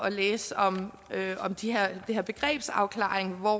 læse om det her begrebsafklaring hvor